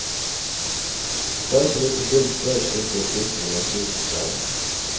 Det skal så lite til før slike opplysninger lekker ut, forklarer han.